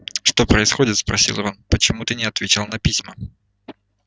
что происходит спросил рон почему ты не отвечал на письма